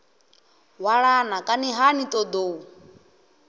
hwalana kani ha ni ṱoḓou